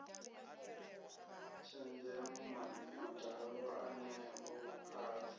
tshenzhemo madalo eneo a ḓo